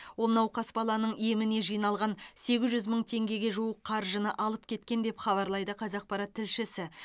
ол науқас баланың еміне жиналған сегіз жүз мың теңгеге жуық қаржыны алып кеткен деп хабарлайды қазақпарат тілшісі